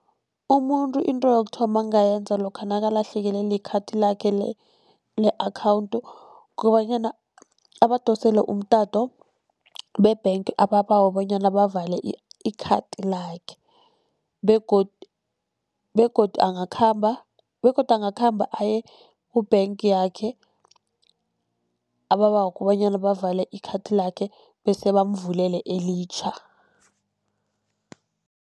Umuntu into yokuthoma angayenza lokha nakalahlekelwe likhathi lakhe le-akhawunthi, kukobanyana abadosele umtato be-bank ababawe bonyana bavale i-card lakhe. Begodu angakhamba, begodu angakhamba aye ku-bank yakhe ababawe kobanyana, bavale i-card lakhe bese bamvulele elitjha.